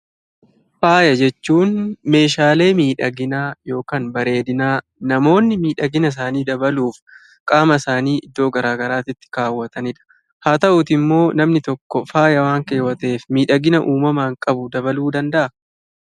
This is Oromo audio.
Faaya jechuun meeshaalee miidhaginaa yookaan bareedinaa, namoonni miidhagina isaanii dabaluuf qaama isaanii iddoo garaa garaatitti kaawwatani dha. Haa ta'uutii immoo namni tokko faaya waan keewwateef miidhagina uumamaan qabu dabaluu danda'a?